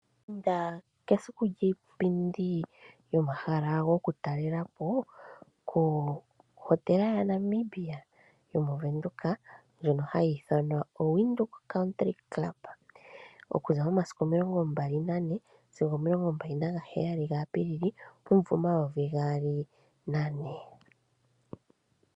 Inda kesiku lyiipindi komahala gokutalelwapo kohotela yaNamibia yomoVenduka ndjono hayi ithanwa Windhoek County Club okuza momasiku 24 sigo 27 April 2024.